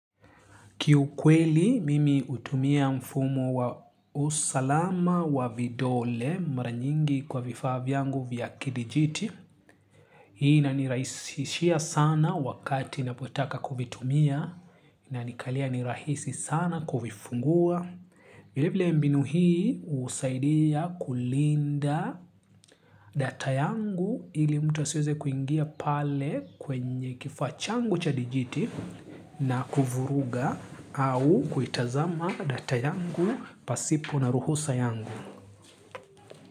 Kiukweli, mimi hutumia mfumo wa usalama wa vidole maranyingi kwa vifaa vyangu vya kidijiti. Hii ina nirahisishia sana wakati napotaka kuvitumia na inikalia nirahisi sana kuvifungua. Vile bile mbinu hii usaidia kulinda data yangu ili mtu asioze kuingia pale kwenye kifaac hangu cha dijiti na kuvuruga au kuitazama data yangu pasipo na ruhusa yangu.